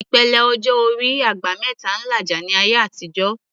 Ìpele ọjọ́ orí "àgbà mẹ́ta" ń làjà ní àtijọ́